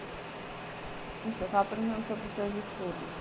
Então, eu estava perguntando sobre os seus estudos.